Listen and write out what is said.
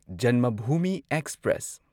Janmabhumi express